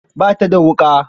Ba ta da wuƙa.